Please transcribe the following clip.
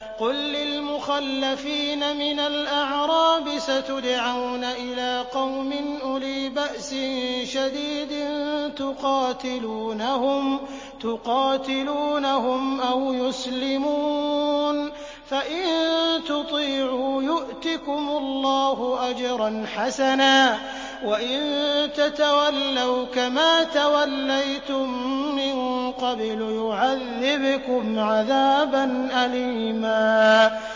قُل لِّلْمُخَلَّفِينَ مِنَ الْأَعْرَابِ سَتُدْعَوْنَ إِلَىٰ قَوْمٍ أُولِي بَأْسٍ شَدِيدٍ تُقَاتِلُونَهُمْ أَوْ يُسْلِمُونَ ۖ فَإِن تُطِيعُوا يُؤْتِكُمُ اللَّهُ أَجْرًا حَسَنًا ۖ وَإِن تَتَوَلَّوْا كَمَا تَوَلَّيْتُم مِّن قَبْلُ يُعَذِّبْكُمْ عَذَابًا أَلِيمًا